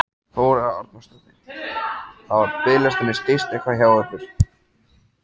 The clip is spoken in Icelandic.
Þóra Arnórsdóttir: Hafa biðlistarnir styst eitthvað hjá ykkur?